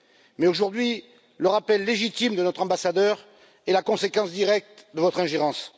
Mais aujourd'hui, le rappel légitime de notre ambassadeur est la conséquence directe de votre ingérence.